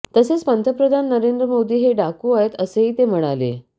तसेच पंतप्रधान नरेंद्र मोदी हे डाकू आहेत असेही ते म्हणाले